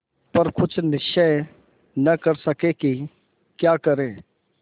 पर कुछ निश्चय न कर सके कि क्या करें